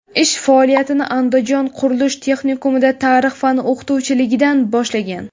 Ish faoliyatini Andijon qurilish texnikumida tarix fani o‘qituvchiligidan boshlagan.